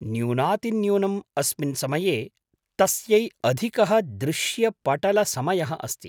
न्यूनातिन्यूनम् अस्मिन् समये तस्यै अधिकः दृश्यपटलसमयः अस्ति।